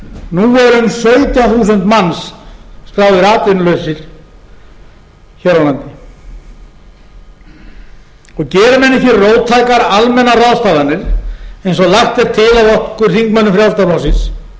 nú eru um sautján þúsund manns skráðir atvinnulausir hér á landi geri menn ekki róttækar almennar ráðstafanir eins og lagt er til